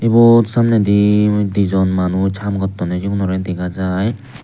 iyot samnedi di dijon manuj haam gottonney sigunorey dega jaai.